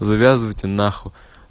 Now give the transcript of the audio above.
завязывайте нахуй